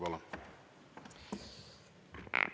Palun!